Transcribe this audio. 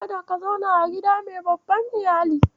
Kada ka zauna a gida mai babban Iyali.